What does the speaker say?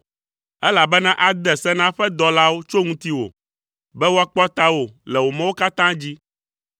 elabena ade se na eƒe dɔlawo tso ŋutiwò, be woakpɔ tawò le wò mɔwo katã dzi.